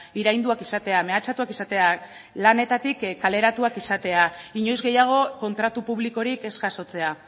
irainduak izatea mehatxatuak izatea lanetatik kaleratuak izatea inoiz gehiago kontratu publikorik ez jasotzea